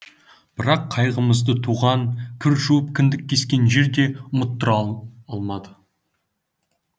бірақ қайғымызды туған кір жуып кіндік кескен жер де ұмыттыра алмады